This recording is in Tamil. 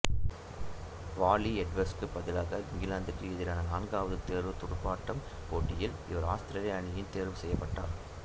வாலி எட்வர்ட்ஸுக்கு பதிலாக இங்கிலாந்துக்கு எதிரான நான்காவது தேர்வுத் துடுப்பாட்டப் போட்டியில் இவர் ஆஸ்திரேலிய அணியில் தேர்வு செய்யப்பட்டார்